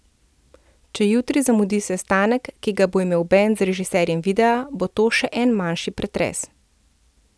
Če jutri zamudi sestanek, ki ga bo imel bend z režiserjem videa, bo to še en manjši pretres.